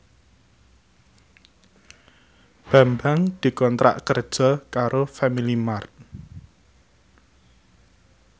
Bambang dikontrak kerja karo Family Mart